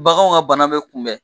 Baganw ka bana bɛ kunbɛn